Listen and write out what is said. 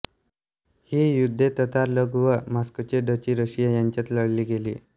ही युद्धे ततार लोक व मॉस्कोची डचीरशिया यांच्यात लढली गेली